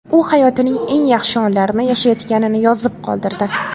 U hayotining eng yaxshi onlarini yashayotganini yozib qoldirdi.